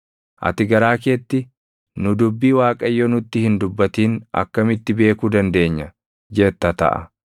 Ati garaa keetti, “Nu dubbii Waaqayyo nutti hin dubbatin akkamitti beekuu dandeenya?” jetta taʼa.